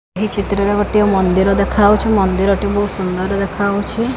ଏହି ଚିତ୍ର ରେ ଗୋଟିଏ ମନ୍ଦିର ଦେଖାହଉଛି ମନ୍ଦିର ଟି ବହୁତ ସୁନ୍ଦର ଦେଖାହଉଛି।